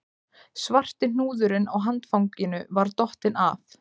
Svarti hnúðurinn á handfanginu var dottinn af